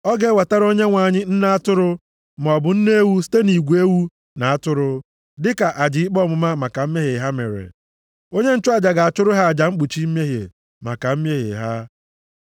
Ọ ga-ewetara Onyenwe anyị nne atụrụ, maọbụ nne ewu site nʼigwe ewu na atụrụ, dịka aja ikpe ọmụma maka mmehie ha mere. Onye nchụaja ga-achụrụ ha aja mkpuchi mmehie maka mmehie ha.